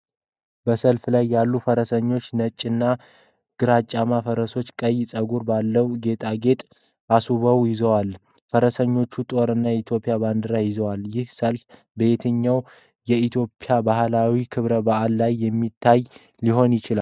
በሰልፍ ላይ ያሉት ፈረሰኞች ነጭና ግራጫማ ፈረሶችን ቀይ ፀጉር ባለው ጌጣጌጥ አስውበው ይዘዋል። ፈረሰኞቹ ጦር እና የኢትዮጵያ ባንዲራዎችን ይዘዋል። ይህ ሰልፍ በየትኛው የኢትዮጵያ ባህላዊ ክብረ በዓል ላይ የሚታይ ሊሆን ይችላል?